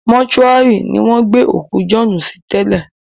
Mọ́túárì ni wọ́n gbé òkú Jọ̀ọ́ọ́nù sí tẹ́lẹ̀